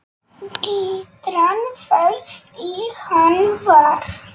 Gildran felst í Hann var.